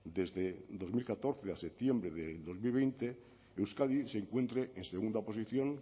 desde dos mil catorce a septiembre de dos mil veinte euskadi se encuentre en segunda posición